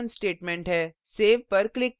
यह हमारा return statement है